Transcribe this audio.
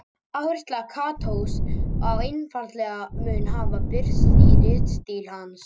Áhersla Katós á einfaldleika mun hafa birst í ritstíl hans.